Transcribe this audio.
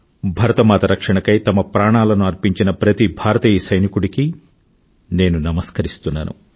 భారతమాత రక్షణకై తమ ప్రాణాలను అర్పించిన ప్రతి భారతీయ సైనికుడికీ నేను నమస్కరిస్తున్నాను